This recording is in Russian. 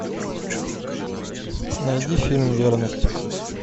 найди фильм верность